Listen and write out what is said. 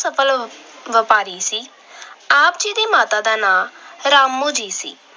ਸਫਲ ਵਪਾਰੀ ਸੀ। ਆਪ ਜੀ ਦੀ ਮਾਤਾ ਦਾ ਨਾਂ ਰਾਮੋ ਜੀ ਸੀ।